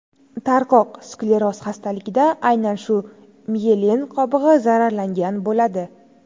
Tarqoq skleroz xastaligida aynan shu miyelin qobig‘i zararlangan bo‘ladi.